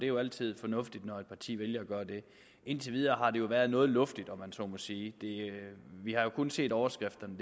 jo altid fornuftigt når et parti vælger at gøre det indtil videre har det jo været noget luftigt om man så må sige vi har jo kun set overskrifterne